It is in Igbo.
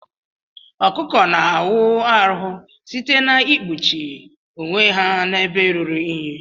Ọkụkọ na awu arụ site na ikpụchi onwe ha na ebe ruru inyi.